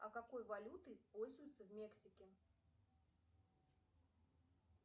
а какой валютой пользуются в мексике